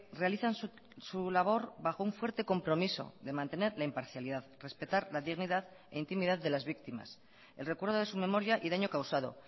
realizan su labor bajo un fuerte compromiso de mantener la imparcialidad respetar la dignidad e intimidad de las víctimas el recuerdo de su memoria y daño causado